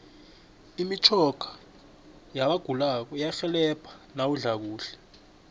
imitjhoga yabagulako iyarhelebha nawudla kahle